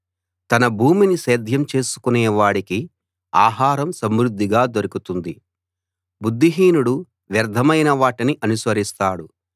తన భూమిని సేద్యం చేసుకునే వాడికి ఆహారం సమృద్ధిగా దొరుకుతుంది బుద్ధిహీనుడు వ్యర్థమైన వాటిని అనుసరిస్తాడు